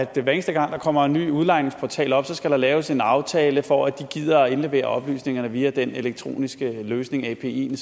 der hver eneste gang der kommer en ny udlejningsportal op skal laves en aftale for at de gider at indlevere oplysningerne via den elektroniske løsning apien